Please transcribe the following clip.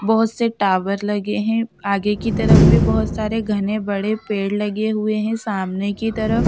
बहुत से टावर लगे हैं आगे की तरफ भी बहुत सारे बड़े घने पेड़ लगे हुए हैं सामने की तरफ--